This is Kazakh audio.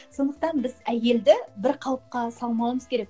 сондықтан біз әйелді бір қалыпқа салмауымыз керек